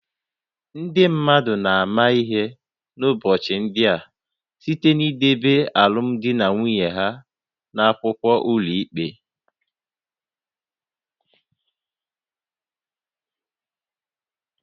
Ndị mmadụ na-ama ihe n’ụbọchị ndị a site n’ideba alụmdi na nwunye ha n’akwụkwọ n’ụlọikpe